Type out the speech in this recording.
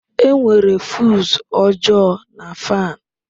Enwere fuse ọjọọ na fan.